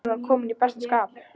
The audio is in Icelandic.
Hann var kominn í besta skap.